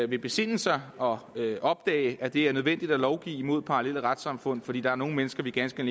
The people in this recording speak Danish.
vil besinde sig og opdage at det er nødvendigt at lovgive mod parallelle retssamfund fordi der er nogle mennesker vi ganske